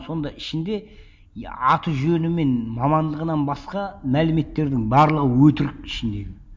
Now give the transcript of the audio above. сонда ішінде аты жөні мен мамандығынан басқа мәліметтердің барлығы өтірік ішіндегі